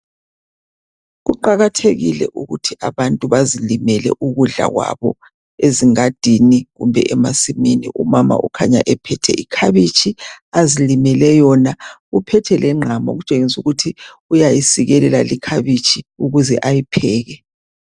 Kuqakathekile ukuthi abantu bazilimele ukudla kwabo ezingadini kumbe emasimini umama ukhanya ephethe ikhabitshi azilimele yona uphethe lengqamu okutshengisa ukuthi uyayisikelela ikhabitshi ukuze ayipheke.